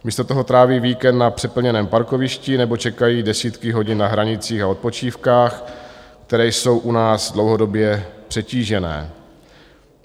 Místo toho tráví víkend na přeplněném parkovišti nebo čekají desítky hodin na hranicích a odpočívkách, které jsou u nás dlouhodobě přetížené.